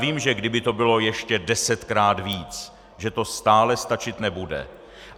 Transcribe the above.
Vím, že kdyby to bylo ještě desetkrát víc, že to stále stačit nebude.